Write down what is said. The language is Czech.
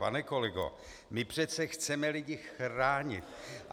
Pane kolego, my přece chceme lidi chránit.